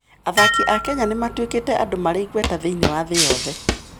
Athaki a Kenya nĩ matuĩkĩte andũ marĩ igweta thĩinĩ wa thĩ yothe.